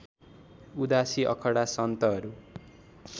उदासी अखडा सन्तहरू